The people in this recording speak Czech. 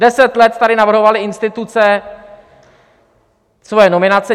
Deset let tady navrhovaly instituce svoje nominace.